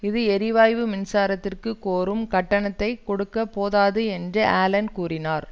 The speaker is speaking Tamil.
இது எரிவாயு மின்சாரத்திற்கு கோரும் கட்டணத்தை கொடுக்க போதாது என்று ஆலென் கூறினார்